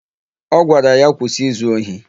Ọ gwara ya, "kwụsị izu ohi"!